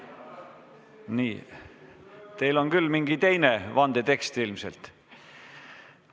Nii, teil on küll mingi teine vandetekst ilmselt.